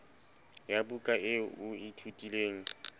ya buka eo o ithutileng